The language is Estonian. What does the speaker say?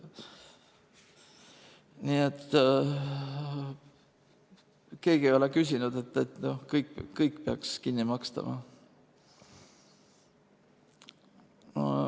Nii et keegi ei ole küsinud, et kõik peaks kinni makstama.